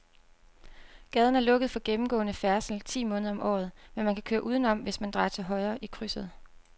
Gaden er lukket for gennemgående færdsel ti måneder om året, men man kan køre udenom, hvis man drejer til højre i krydset.